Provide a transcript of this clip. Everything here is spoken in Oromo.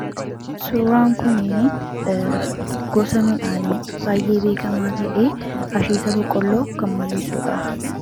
Suuraan kuni gosa midhaanii baay'ee beekamaa ta'e asheeta boqqolloo kan mul'isudha.